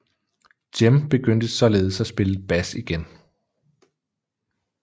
Cem begyndte således at spille bas igen